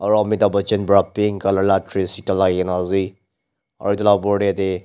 aro amitabh bachan pra pink color la dress ekta lagai gina ase aro etu la opor de ede--